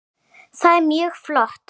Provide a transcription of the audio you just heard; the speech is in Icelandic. Það er mjög flott.